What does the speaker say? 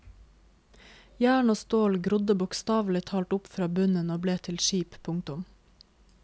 Jern og stål grodde bokstavelig talt opp fra bunnen og ble til skip. punktum